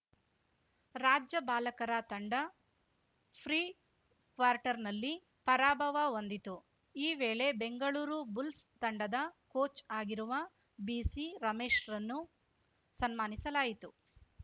ರಾಜ್ಯ ಬಾಲಕರ ತಂಡ ಫ್ರಿ ಕ್ವಾರ್ಟರ್‌ನಲ್ಲಿ ಪರಾಭವ ಹೊಂದಿತು ಈ ವೇಳೆ ಬೆಂಗಳೂರು ಬುಲ್ಸ್‌ ತಂಡದ ಕೋಚ್‌ ಆಗಿರುವ ಬಿಸಿ ರಮೇಶ್‌ರನ್ನು ಸನ್ಮಾನಿಸಲಾಯಿತು